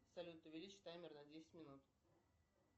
салют увеличь таймер на десять минут